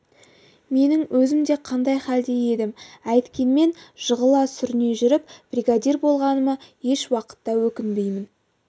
менің өзім де қандай хәлде едім әйткенмен жығыла-сүріне жүріп бригадир болғаныма еш уақытта өкінбеймін